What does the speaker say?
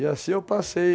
E assim eu passei.